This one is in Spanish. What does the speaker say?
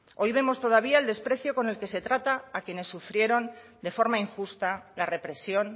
hoy vemos todavía el desprecio con el que se trata a quienes sufrieron de forma injusta la represión